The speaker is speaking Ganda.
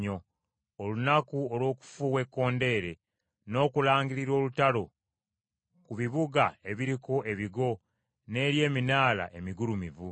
olunaku olw’okufuuwa ekkondeere n’okulangirira olutalo ku bibuga ebiriko ebigo n’eri eminaala emigulumivu.